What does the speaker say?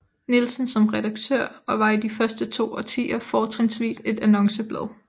Nielsen som redaktør og var i de første to årtier fortrinvist et annonceblad